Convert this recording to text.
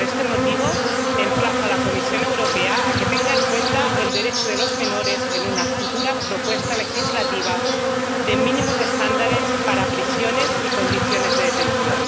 Por este motivo, emplazo a la Comisión Europea a que tenga en cuenta el derecho de los menores en una futura propuesta legislativa de mínimos estándares para prisiones y condiciones de detención.